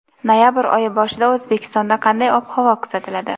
Noyabr oyi boshida O‘zbekistonda qanday ob-havo kuzatiladi.